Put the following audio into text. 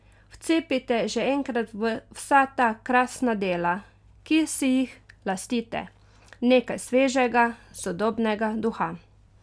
Vcepite že enkrat v vsa ta krasna dela, ki si jih lastite, nekaj svežega, sodobnega duha!